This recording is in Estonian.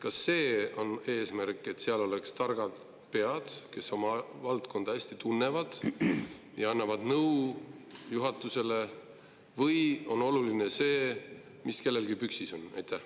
Kas eesmärk on see, et seal oleksid targad pead, kes oma valdkonda hästi tunnevad ja annavad nõu juhatusele, või on oluline see, mis kellelgi püksis on?